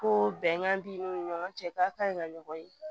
Ko bɛnkan b'i ni ɲɔgɔn cɛ k'a kaɲi ka ɲɔgɔn ye